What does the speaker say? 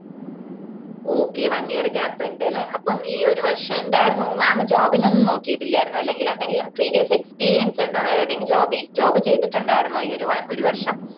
okay one year gap ഇണ്ട് ലേ അപ്പം ഈ ഒരു വർഷം എന്തായിരുന്നു mam job ന് ഒന്നും നോക്കീട്ടില്ലായിരുന്നോ അല്ലെങ്കില് എന്തെങ്കിലും previous experience ഉണ്ടോ വേറെ എന്തെങ്കിലും job job ചെയ്‌തിട്ടുണ്ടായിരുന്നോ ഈ ഒര് ഒരു വർഷം